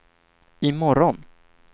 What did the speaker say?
imorgon